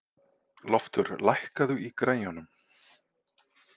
Loftur, lækkaðu í græjunum.